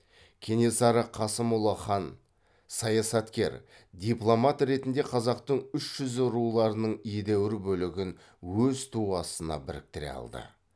кенесары қасымұлы хан саясаткер дипломат ретінде қазақтың үш жүзі руларының едәуір бөлігін өз туы астына біріктіре алды